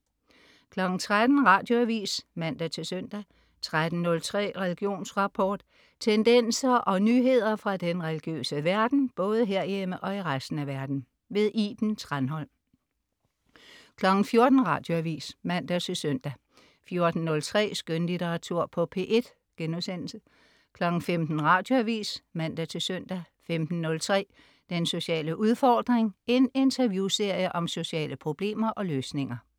13.00 Radioavis (man-søn) 13.03 Religionsrapport. Tendenser og nyheder fra den religiøse verden, både herhjemme og i resten af verden. Iben Thranholm 14.00 Radioavis (man-søn) 14.03 Skønlitteratur på P1* 15.00 Radioavis (man-søn) 15.03 Den sociale udfordring. En interviewserie om sociale problemer og løsninger